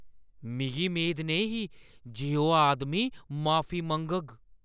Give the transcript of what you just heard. मिगी मेद नेईं ही जे ओह् आदमी माफी मंग्गग।